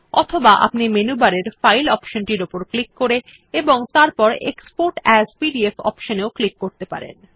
অথবা আপনি মেনু বারের ফাইল অপশনটির উপর ক্লিক করে এবং তারপর এক্সপোর্ট এএস পিডিএফ অপশন এও ক্লিক করতে পারেন